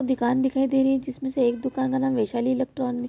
दुकान दिखाई दे रही है जिसमे से एक दुकान का नाम वैशाली इलेक्ट्रॉनिक --